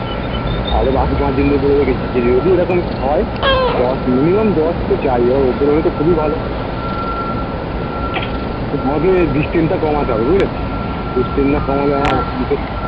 আরো বাকি পাচঁজনদের বলে রেখেছি যে যদি ওরকম হয় দশ minimum দশ তো চাই ওর ওপরে হলেতো খুবই ভালো তো আমাকে distance টা কমাতে হবে বুঝলে তো distance না কমালে